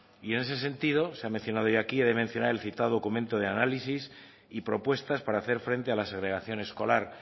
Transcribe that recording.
y en ese sentido se ha mencionado ya aquí he de mencionar el citado documento de análisis y propuestas para hacer frente a la segregación escolar